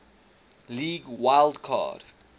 league wild card